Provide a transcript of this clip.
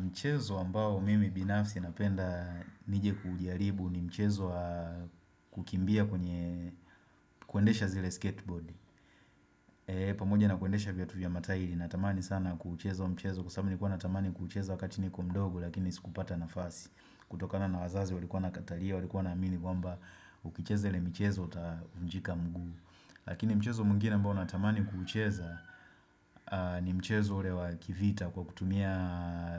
Mchezo ambao mimi binafsi napenda nije kuujaribu ni mchezo kukimbia kwenye kuendesha zile skateboard Eeeh pa moja na kuendesha viatu vya matahiri natamani sana kuucheza mchezo Kwa sababu nilikuwa natamani kuucheza wakati ni ko mdogo lakini sikupata na fasi kutokana na wazazi ulikuwa na katalia walikuwa na amini kwamba ukicheza ile mchezo utavunjika mguu Lakini mchezo mwingine ambao natamani kuucheza ni mchezo ule wa kivita kwa kutumia